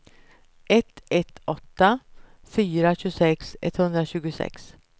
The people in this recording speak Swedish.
ett ett åtta fyra tjugosex etthundratjugosex